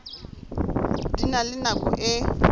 di na le nako e